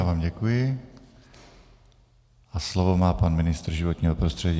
Já vám děkuji a slovo má pan ministr životního prostředí.